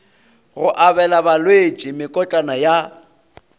go abela balwetši mekotlana ya